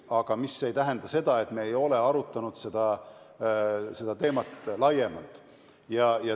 Aga see ei tähenda, et me ei ole seda teemat lähemalt arutanud.